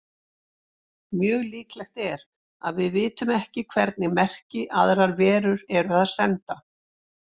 Mjög líklegt er að við vitum ekki hvernig merki aðrar verur eru að senda.